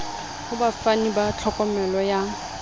ho bafani ba tlhokomelo ya